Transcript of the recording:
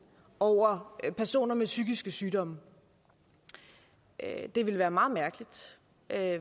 over personer med psykiske sygdomme det ville være meget mærkeligt